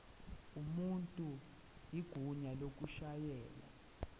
umuntu igunya lokushayela